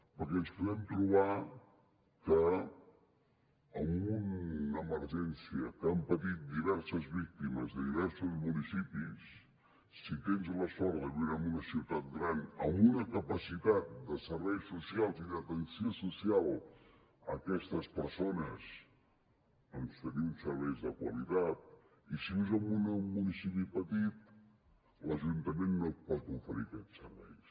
perquè ens podem trobar que en una emergència que han patit diverses víctimes de diversos municipis si tens la sort de viure en una ciutat gran amb una capacitat de serveis socials i d’atenció social a aquestes persones doncs tenir uns serveis de qualitat i si vius en un municipi petit l’ajuntament no et pot oferir aquests serveis